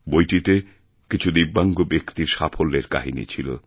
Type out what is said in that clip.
বইটিতে কিছু দিব্যাঙ্গব্যক্তির সাফল্যের কাহিনি ছিল